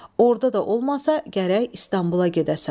Orda da olmasa, gərək İstanbula gedəsən.